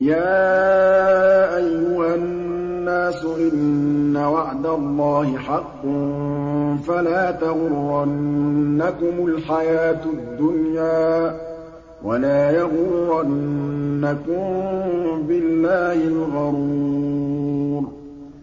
يَا أَيُّهَا النَّاسُ إِنَّ وَعْدَ اللَّهِ حَقٌّ ۖ فَلَا تَغُرَّنَّكُمُ الْحَيَاةُ الدُّنْيَا ۖ وَلَا يَغُرَّنَّكُم بِاللَّهِ الْغَرُورُ